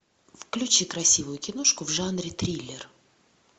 включи красивую киношку в жанре триллер